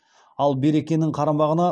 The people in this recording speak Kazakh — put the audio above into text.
ал беркенің қарамағына